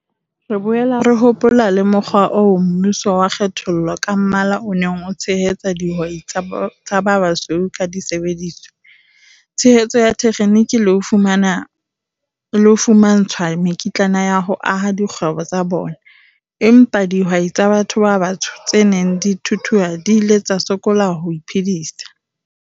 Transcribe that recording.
"Re boela re hopola le mokgwa oo mmuso wa kgethollo ka mmala o neng o tshehetsa dihwai tsa ba basweu ka disebediswa, tshehetso ya thekheniki le ho fumantshwa mekitlana ya ho aha dikgwebo tsa bona, empa dihwai tsa batho ba batsho tse neng di thuthuha di ile tsa sokola ho iphedisa."